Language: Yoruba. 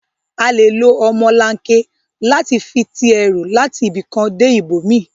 À lé ló ọmọlanke làti fi ti èrú làti ibikán dé ibómi